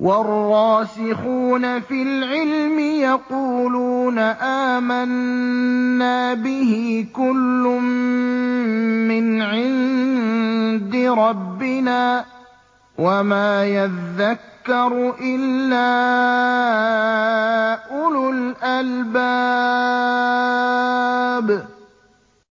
وَالرَّاسِخُونَ فِي الْعِلْمِ يَقُولُونَ آمَنَّا بِهِ كُلٌّ مِّنْ عِندِ رَبِّنَا ۗ وَمَا يَذَّكَّرُ إِلَّا أُولُو الْأَلْبَابِ